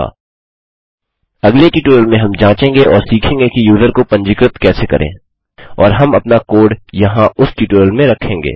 अगले ट्यूटोरियल में हम इसे जाँचेंगे और सीखेंगे कि यूज़र को पंजीकृत कैसे करें और हम अपना कोड यहाँ उस ट्यूटोरियल में रखेंगे